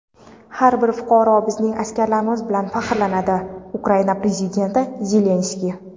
har bir fuqaro bizning askarlarimiz bilan faxrlanadi - Ukraina Prezidenti Zelenskiy.